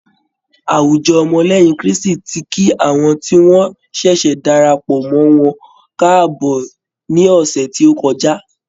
Àwùjọ ọmọ lẹ́yìn Krístì ti kí àwọn tí wọn ṣẹ̀ṣẹ̀ darapọ̀ mọ́ wọn káàbọ̀ ní ọ̀sẹ̀ tí ó kọjá.